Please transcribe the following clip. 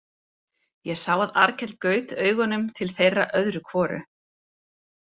Ég sá að Arnkell gaut augunum til þeirra öðru hvoru.